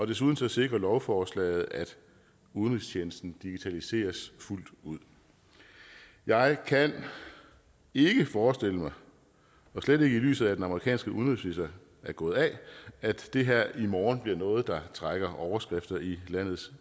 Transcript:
desuden sikrer lovforslaget at udenrigstjenesten digitaliseres fuldt ud jeg kan ikke forestille mig slet ikke i lyset af at den amerikanske udenrigsminister er gået af at det her i morgen bliver noget der trækker overskrifter i landets